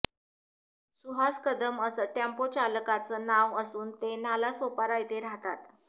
सुहास कदम असं टेम्पोचालकाचं नाव असून ते नालासोपारा येथे राहतात